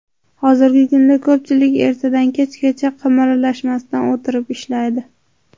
Hozirgi kunda ko‘pchilik ertadan kechgacha qimirlamasdan o‘tirib ishlaydi.